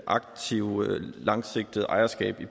aktivt langsigtet ejerskab i